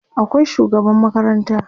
akwai shugaban makaranta